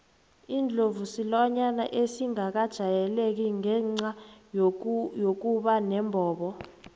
indlovu silwane esingakajayeleki ngenca yokuba nombobo